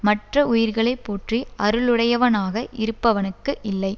மற்ற உயிர்களை போற்றி அருளுடையவனாக இருப்பவனுக்கு இல்லை